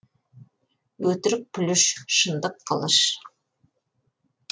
өтірік пүліш шындық қылыш